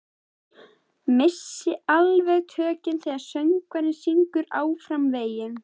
Missi alveg tökin þegar söngvarinn syngur Áfram veginn.